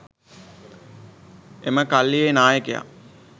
එම කල්ලියේ නායකයා